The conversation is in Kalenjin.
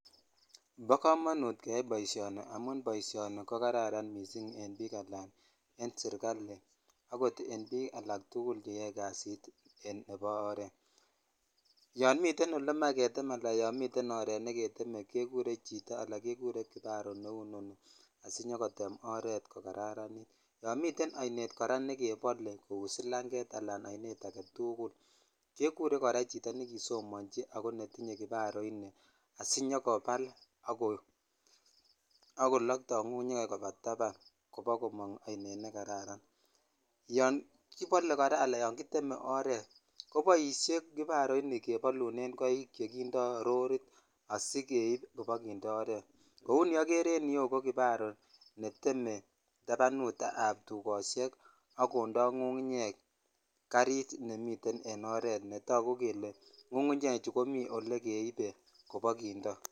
Bi komonut keyai boishoni amun boishoni ni koraranen bik ala en sirkli akot en bik agetugul cheyoe kasit nebo oret yon miten olemoe getem ala yon oret negetem kekure chito ala kegure kibaroo ne noni asinyogotem oret kokararanit yon miten koraa ainet nekebole kou silanget ala agetukul kekure kora chito nekisomochi ak netinye kibaro ini asinyokobal ak kolokto ngungunyek koba taban koba komong ainet ne kararan yon kibole koraa ala yon kiteme oret koboishen kibarooini kebolunen koik chekindo rorit asigeip kopokindeot oret kou ni ogere en yuu netem tabanut tukoshek ak kondoi ngungunyek garit nemiten en oret netagu kele ngungunyechu komi ole keibe kobokindo.